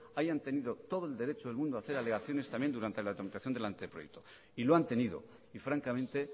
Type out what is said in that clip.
hayan tenido todo el derecho del mundo a hacer alegaciones también durante la tramitación del anteproyecto y lo han tenido y francamente